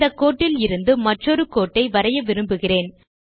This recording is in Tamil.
இந்த கோட்டில் இருந்து மற்றொரு கோட்டை வரைய விரும்புகிறேன்